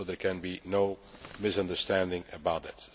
There can be no misunderstanding about that.